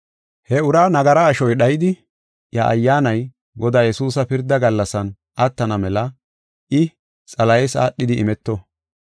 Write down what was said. He ura nagara ashoy dhaydi, iya ayyaanay Godaa Yesuusa pirda gallasan attana mela I, Xalahes aadhidi imeto.